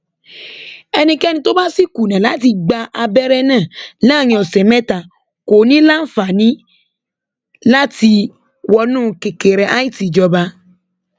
ẹnikẹni tó bá sì kùnà láti gba abẹrẹ náà láàrin ọsẹ mẹta kò ní í láǹfààní láti wọnú kẹkẹrẹíàti ìjọba